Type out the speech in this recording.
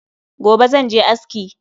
Gobe zan je aski